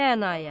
Rənaya.